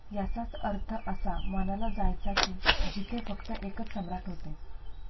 याचाच अर्थ असा मनाला जायचा कि जिथे फक्त एकच सम्राट होते.